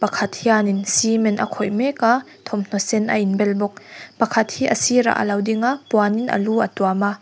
pakhat hianin cement a khawih mek a thawmhnaw sen a inbel bawk pakhat hi a sirah a lo ding a puanin a lu a lo tuam a.